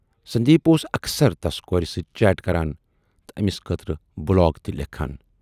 سندیپ اوس اکثر تَس کوٗرِ سۭتۍ چیٹ کران تہٕ ٲمِس خٲطرٕ بلاگ تہِ لیکھان۔